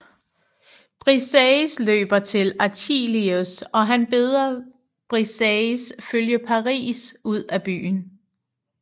Briseis løber til Achilleus og han beder Briseis følge Paris ud af byen